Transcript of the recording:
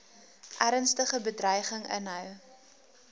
ernstige bedreiging inhou